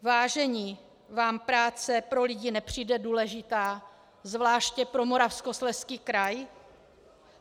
Vážení, vám práce pro lidi nepřijde důležitá, zvláště pro Moravskoslezský kraj?